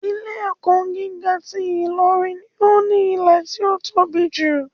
Ilé ẹ̀kọ́ gíga ti Ilorin ni ó ní ilẹ̀ tí ó tóbi jù.